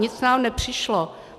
Nic nám nepřišlo.